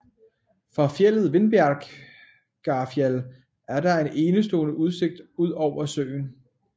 Fra fjeldet Vindbergjarfjall er der en enestående udsigt ud over søen